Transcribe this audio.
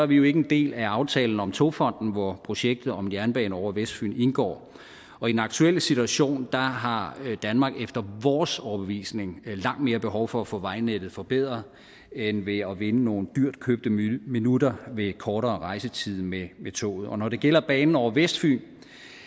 vi ikke en del af aftalen om togfondendk hvor projektet om jernbane over vestfyn indgår og i den aktuelle situation har har danmark efter vores overbevisning langt mere behov for at få vejnettet forbedret end ved at vinde nogle dyrtkøbte minutter ved kortere rejsetid med med toget når det gælder banen over vestfyn